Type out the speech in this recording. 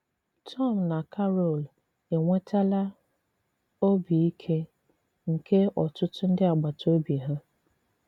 Tòm na Càrol enwetàlà ọ̀bì ìkè nke ọtụtụ ndị agbàtà òbì hà.